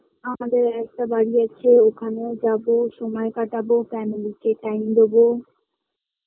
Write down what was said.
আমাদের আর একটা বাড়ি আছে ওখানেও যাবো সময় কাটাবো family কে time দেবো